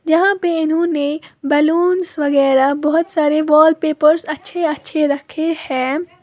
यहां पे इन्होंने बलूंस वगैरह बोहोत सारे वॉलपेपर्स अच्छे-अच्छे रखे हैं।